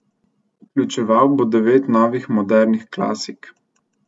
Vključeval bo devet novih modernih klasik.